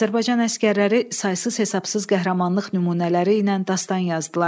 Azərbaycan əsgərləri saysız-hesabsız qəhrəmanlıq nümunələri ilə dastan yazdılar.